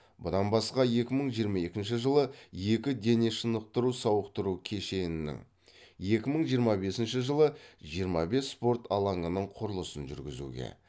бұдан басқа екі мың жиырма екінші жылы екі денешынықтыру сауықтыру кешенінің екі мың жиырма бесінші жылы жиырма бес спорт алаңының құрылысын жүргізуге